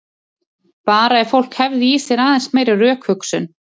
Bara ef fólk hefði í sér aðeins meiri rökhugsun.